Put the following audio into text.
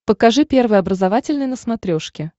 покажи первый образовательный на смотрешке